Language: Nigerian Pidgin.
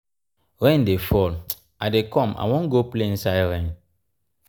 rain dey fall. i dey come i wan go play inside rain.